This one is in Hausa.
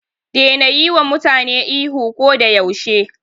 Daina yiwa mutane ihu ko da yaushe.